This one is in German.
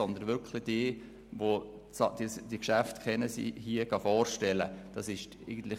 Es haben wirklich diejenigen die Geschäfte vorgestellt, die sie kennen.